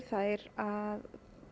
þær að